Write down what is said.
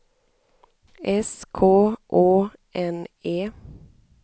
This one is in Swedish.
S K Å N E